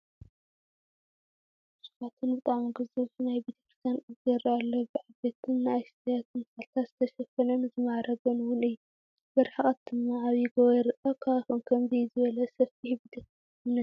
ብስፍላቱ ብጣዕሚ ግዙፍ ናይ ቤተ ክርስትያን ቅፅሪ ይረአ ኣሎ፡፡ ብዓበይትን ንእሽተያትን ተኽልታት ዝተሸፈነን ዝማዕረገን ውን እዩ፡፡ ብርሕቐት ድማ ዓብይ ጎቦ ይረአ፡፡ ኣብ ከባቢኹም ከምዚ ዝበለ ሰፊሕ ቤተ እምነት ዶ ኣሎ?